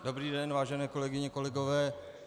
Dobrý den, vážené kolegyně, kolegové.